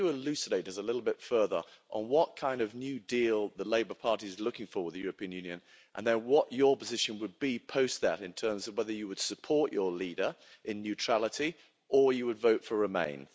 Could you elucidate us a little bit further on what kind of new deal the Labour Party is looking for with the European Union and then what your position would be post that in terms of whether you would support your leader in neutrality or you would vote for remain?